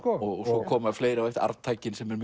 svo koma fleiri Arftakinn sem er